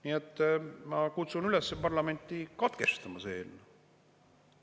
Nii et ma kutsun üles parlamenti katkestama see eelnõu.